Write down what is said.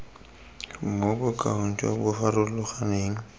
mo bokaong jo bo farologaneng